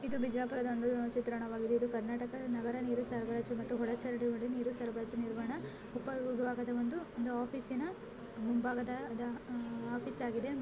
ಇದು ಬಿಜಾಪುರದ ಒಂದು ಚಿತ್ರಣವಾಗಿದೆ. ಇದು ಕರ್ನಾಟಕ ನಗರ ಒಳ ನೀರು ಸರಬರಾಜು ಮತ್ತೆ ಒಳಚರಂಡಿ ಸರಬರಾಜು ನಿರ್ವಹಣಾ ಉಪ ವಿಭಾಗದ ಒಂದು ಮುಂಭಾಗದ ಆಫೀಸ್ ಆಗಿದೆ.